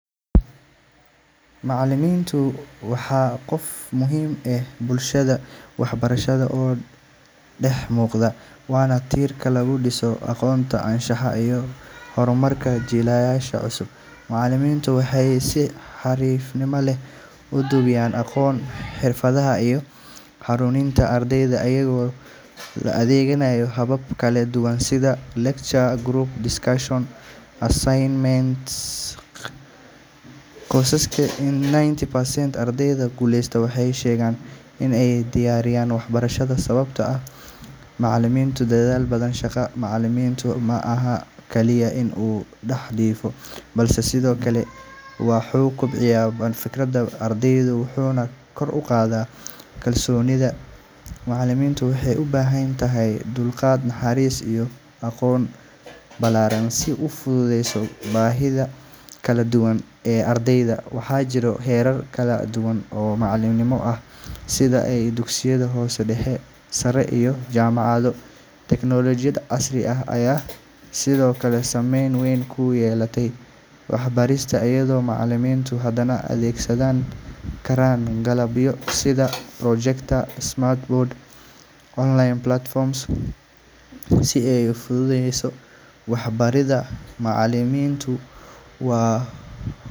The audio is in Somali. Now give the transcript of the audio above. Macallinku waa qofka ugu muhiimsan ee bulshada waxbarashada ka dhex muuqda, waana tiirka lagu dhiso aqoonta, anshaxa, iyo horumarka jiilasha cusub. Macallimiintu waxay si xirfad leh u gudbiyaan aqoonta, xirfadaha, iyo hanuuninta ardayda iyaga oo adeegsanaya habab kala duwan sida lectures, group discussions, iyo assignments. Qiyaastii ninety percent ardayda guuleysta waxay sheegaan in ay ku dhiirradeen waxbarashada sababtuna tahay macallimiin dadaal badan. Shaqada macallinka ma aha oo kaliya in uu wax dhigo, balse sidoo kale wuxuu kobciyaa hannaanka fikirka ardayda, wuxuuna kor u qaadaa kalsoonidooda. Macallinku wuxuu u baahan yahay dulqaad, naxariis, iyo aqoon ballaaran si uu u fahmo baahiyaha kala duwan ee ardayda. Waxaa jira heerar kala duwan oo macallinimo ah sida kuwa dugsiyada hoose, dhexe, sare, iyo jaamacado. Teknoolojiyadda casriga ah ayaa sidoo kale saameyn weyn ku yeelatay waxbarista, iyadoo macallimiintu hadda adeegsan karaan qalabyo sida projectors, smart boards, iyo online platforms si ay u fududeeyaan waxbaridda. Macallimiintu waa.